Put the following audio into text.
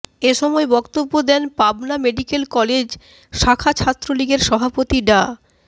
এ সময় বক্তব্য দেন পাবনা মেডিকেল কলেজ শাখা ছাত্রলীগের সভাপতি ডা